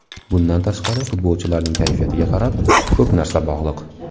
Bundan tashqari, futbolchilarning kayfiyatiga ham ko‘p narsa bog‘liq”.